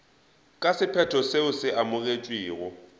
ka sephetho seo se amogetšwego